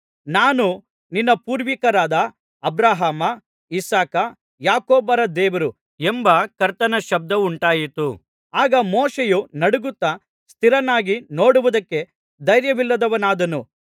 ನಾನು ನಿನ್ನ ಪೂರ್ವಿಕರಾದ ಅಬ್ರಹಾಮ ಇಸಾಕ ಯಾಕೋಬರ ದೇವರು ಎಂಬ ಕರ್ತನ ಶಬ್ದವುಂಟಾಯಿತು ಆಗ ಮೋಶೆಯು ನಡುಗುತ್ತಾ ಸ್ಥಿರನಾಗಿ ನೋಡುವುದಕ್ಕೆ ಧೈರ್ಯವಿಲ್ಲದವನಾದನು